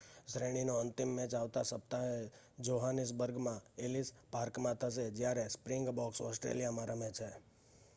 શ્રેણીનો અંતિમ મેચ આવતા સપ્તાહે જોહાનીસબર્ગમાં એલીસ પાર્કમાં થશે જ્યારે સ્પ્રિંગબોક્સ ઓસ્ટ્રેલીયા રમે છે